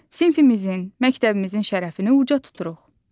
Sinfimizin, məktəbimizin şərəfini uca tuturuq.